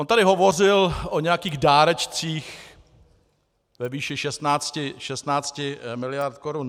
On tady hovořil o nějakých dárečcích ve výši 16 miliard korun.